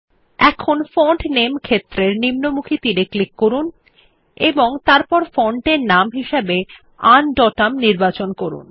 এখন ফন্ট নামে ক্ষেত্রের নিম্নমুখী তীর এ ক্লিক করুন এবং তারপর ফন্টের নাম হিসাবে আনডোটাম নির্বাচন করুন